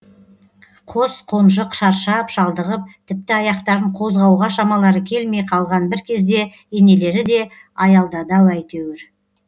қос қонжық шаршап шалдығып тіпті аяқтарын қозғауға шамалары келмей қалған бір кезде енелері де аялдады ау әйтеуір